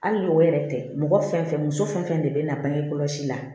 Hali n'o yɛrɛ tɛ mɔgɔ fɛn fɛn muso fɛn fɛn de bɛ na bange kɔlɔsi la